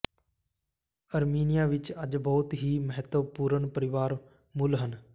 Armenia ਵਿੱਚ ਅੱਜ ਬਹੁਤ ਹੀ ਮਹੱਤਵਪੂਰਨ ਪਰਿਵਾਰ ਮੁੱਲ ਹਨ